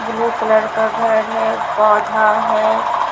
Blue colour का घर है पौधा है।